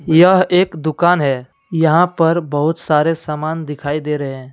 यह एक दुकान है यहां पर बहुत सारे सामान दिखाई दे रहे हैं